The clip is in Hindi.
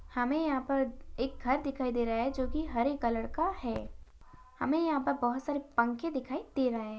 हमे यहां पर एक घर दिखाई दे रहा है। जो की हरे कलर का है। हमे यहां पर बहुत सारे पंखे दिखाई दे रहे है।